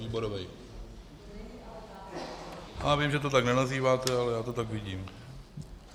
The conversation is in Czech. Výborový - já vím, že to tak nenazýváte, ale já to tak vidím.